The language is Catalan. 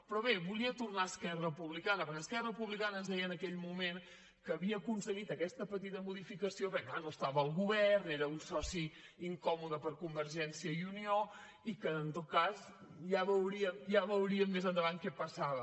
però bé volia tornar a esquerra republicana perquè esquerra republicana ens deia en aquell moment que havia aconseguit aquesta petita modificació perquè clar no estava al govern era un soci incòmode per a convergència i unió i que en tot cas ja veuríem més endavant que passava